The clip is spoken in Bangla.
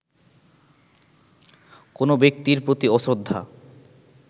কোনো ব্যক্তির প্রতি অশ্রদ্ধা